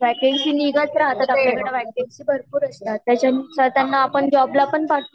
त्यांची निगत राहतात भरपूर असतात आणि यांना आपण जॉब ला पण पाठवू शकतो